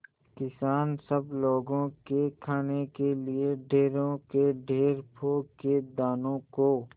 किसान सब लोगों के खाने के लिए ढेरों के ढेर पोंख के दानों को